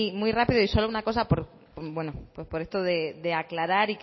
muy rápido y solo una cosa por esto de aclarar